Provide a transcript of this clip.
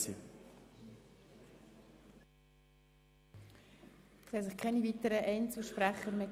Es haben sich keine weiteren Einzelsprecher angemeldet.